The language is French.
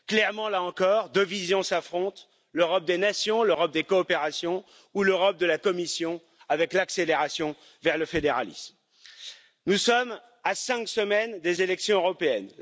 Clairement, là encore, deux visions s'affrontent l'Europe des nations, l'Europe des coopérations, ou l'Europe de la Commission avec l'accélération vers le fédéralisme. Nous sommes à cinq semaines des élections européennes.